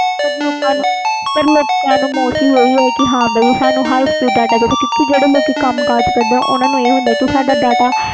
ਪਰ ਲੋਕਾਂ ਨੂੰ mostly ਇਹੀ ਕਿ ਸਾਨੂੰ high speed data ਚਾਹੀਦਾ ਆ ਲੋਕ ਜਿਹੜੇ ਕਮ ਕਰਦੇ ਓਹਨੂੰ ਸਾਡਾ data